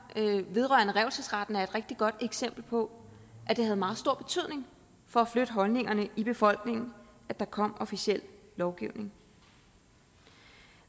vedrørende revselsesretten er et rigtig godt eksempel på at det havde meget stor betydning for at flytte holdningerne i befolkningen at der kom officiel lovgivning